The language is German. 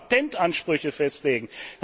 wenn wir auch Patentansprüche festlegen.